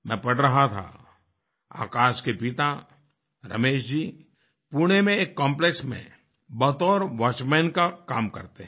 मैं पढ़ रहा था आकाश के पिता रमेश जी पुणे में एक कॉम्प्लेक्स में बतौर वॉचमैन का काम करते हैं